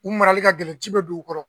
U marali ka gɛlɛn ji be don u kɔrɔ.